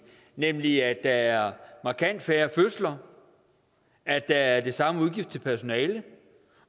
nemlig at der er markant færre fødsler at der er de samme udgifter til personale